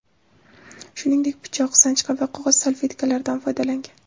Shuningdek, pichoq, sanchqi va qog‘oz salfetkalardan foydalangan.